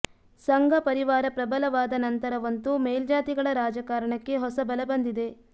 ಸಂಘ ಪರಿವಾರ ಪ್ರಬಲವಾದ ನಂತರವಂತೂ ಮೇಲ್ಜಾತಿಗಳ ರಾಜಕಾರಣಕ್ಕೆ ಹೊಸ ಬಲ ಬಂದಿದೆ